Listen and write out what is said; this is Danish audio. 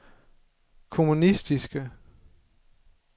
kommunistiske